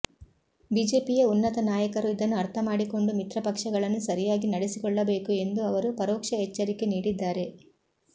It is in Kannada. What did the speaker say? ಬಿಜೆಪಿಯ ಉನ್ನತ ನಾಯಕರು ಇದನ್ನು ಅರ್ಥಮಾಡಿಕೊಂಡು ಮಿತ್ರಪಕ್ಷಗಳನ್ನು ಸರಿಯಾಗಿ ನಡೆಸಿಕೊಳ್ಳಬೇಕು ಎಂದು ಅವರು ಪರೋಕ್ಷ ಎಚ್ಚರಿಕೆ ನೀಡಿದ್ದಾರೆ